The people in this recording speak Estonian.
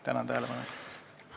Tänan tähelepanu eest!